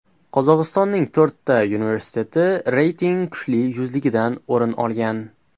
Qozog‘istonning to‘rtta universiteti reyting kuchli yuzligidan o‘rin olgan.